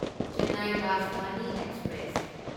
Chennai Rajdhani express